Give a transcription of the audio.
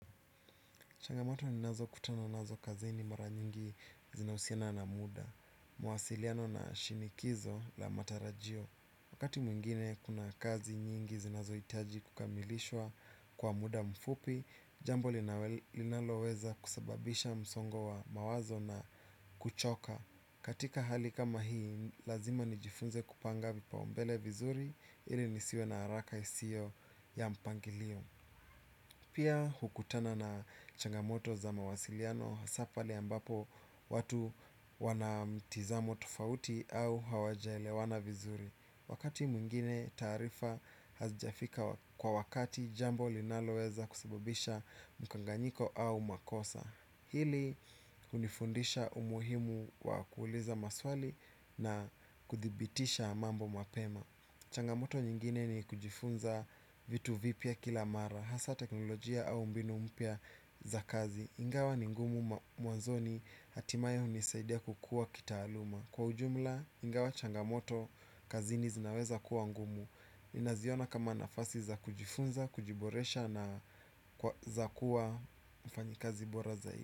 Changamoto ninazokutana nazo kazini mara nyingi zinahusiana na muda. Mawasiliano na shinikizo la matarajio. Wakati mwingine kuna kazi nyingi zinazohitaji kukamilishwa kwa muda mfupi, jambo linaloweza kusababisha msongo wa mawazo na kuchoka. Katika hali kama hii, lazima nijifunze kupanga vipaumbele vizuri ili nisiwe na haraka isiyo ya mpangilio. Pia hukutana na changamoto za mawasiliano hasa pale ambapo watu wanamtizamo tofauti au hawajaelewana vizuri. Wakati mwingine taarifa hazijafika kwa wakati jambo linaloweza kusababisha mkanganyiko au makosa. Hili hunifundisha umuhimu wa kuuliza maswali na kudhibitisha mambo mapema. Changamoto nyingine ni kujifunza vitu vipya kila mara. Hasa teknolojia au mbinu mpya za kazi ingawa ni ngumu mwanzoni hatimaye hunisaidia kukua kitaaluma. Kwa ujumla ingawa changamoto kazini zinaweza kuwa ngumu ninaziona kama nafasi za kujifunza, kujiboresha na za kuwa mfanyikazi bora zaidi.